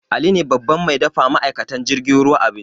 Ali ne babban mai dafa wa ma'aikatan jirgin ruwa abinci